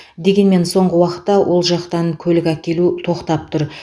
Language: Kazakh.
дегенмен соңғы уақытта ол жақтан көлік әкелу тоқтап тұр